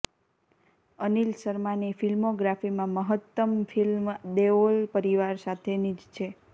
અનિલ શર્માની ફ્લ્મિોગ્રાફીમાં મહત્તમ ફ્લ્મિ દેઓલ પરિવાર સાથેની જ છે